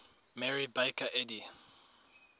mary baker eddy